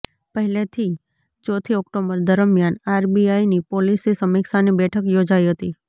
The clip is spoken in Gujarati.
પહેલીથી ચોથી ઓક્ટોબર દરમિયાન આરબીઆઈની પોલિસી સમીક્ષાની બેઠક યોજાઈ હતી